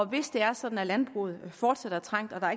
hvis det er sådan at landbruget fortsat er trængt og der